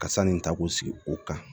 Ka sanni ta k'o sigi o kan